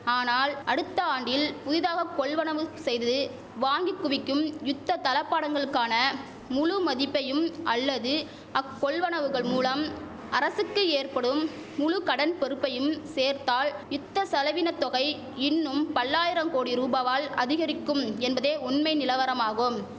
ஆனால் அடுத்த ஆண்டில் புதிதாக கொள்வனவு செய்து வாங்கி குவிக்கும் யுத்த தளபாடங்களுக்கான முழு மதிப்பையும் அல்லது அக்கொள்வனவுகள் மூலம் அரசுக்கு ஏற்படும் முழு கடன் பொறுப்பையும் சேர்த்தால் யுத்த செலவின தொகை இன்னும் பல்லாயிரம் கோடி ரூபாவால் அதிகரிக்கும் என்பதே உண்மை நிலவரமாகும்